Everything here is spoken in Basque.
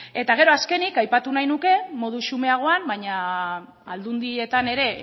eta gero azkenik aipatu nahi nuke modu xumeagoan baina aldundietan ere